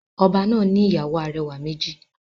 Oba náà ni ìyàwó arẹwà méjì.